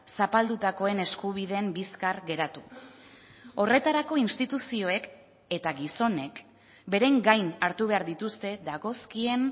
zapaldutakoen eskubideen bizkar geratu horretarako instituzioek eta gizonek beren gain hartu behar dituzte dagozkien